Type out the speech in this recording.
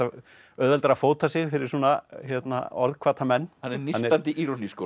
auðveldara að fóta sig fyrir svona menn hann er nístandi